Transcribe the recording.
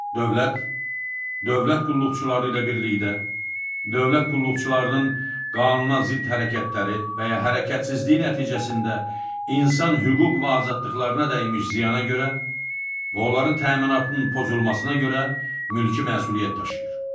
Dövlət, dövlət qulluqçuları ilə birlikdə dövlət qulluqçularının qanuna zidd hərəkətləri və ya hərəkətsizliyi nəticəsində insan hüquq və azadlıqlarına dəymiş ziyana görə və onların təminatının pozulmasına görə mülki məsuliyyət daşıyır.